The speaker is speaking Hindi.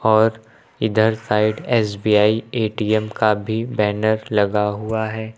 और इधर साइड एस_बी_आई ए_टी_एम का भी बैनर लगा हुआ है।